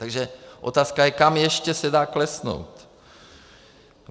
Takže otázka je, kam ještě se dá klesnout.